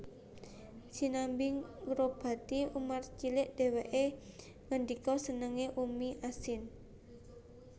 Sinambi ngobati Umar cilik dheweke ngendika Senenga Ummi Ashim